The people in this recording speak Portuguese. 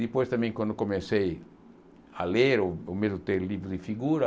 Depois também, quando comecei a ler, o medo de ter livro de figura...